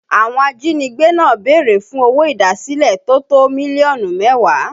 Àwọn ajínigbé náà béèrè fún owó idasile tó tó mílíọ̀nù mẹ́wàá